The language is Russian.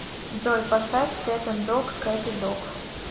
джой поставь кэт энд дог кэт и дог